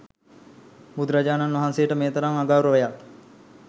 බුදුරජාණන් වහන්සේට මේ තරම් අගෞරවයක්